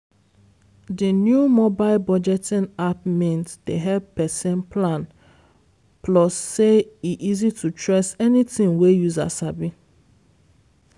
di new mobile budgeting app mint dey help person plan plus say e easy to trace anything wey user sabi.